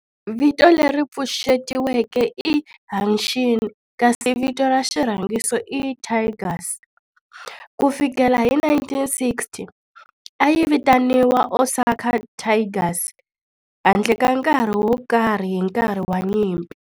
Vito leri pfuxetiweke i Hanshin kasi vito ra xirhangiso i Tigers. Ku fikela hi 1960, a yi vitaniwa Osaka Tigers handle ka nkarhi wo karhi hi nkarhi wa nyimpi.